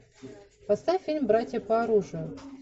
поставь фильм братья по оружию